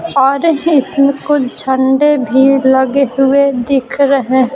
और इसमें कुछ झंडे भी लगे हुए दिख रहे ।